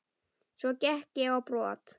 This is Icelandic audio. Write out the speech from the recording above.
Svo gekk ég á brott.